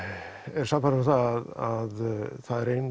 er sannfærður um það að það er